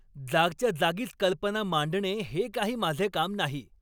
जागच्या जागीच कल्पना मांडणे हे काही माझे काम नाही.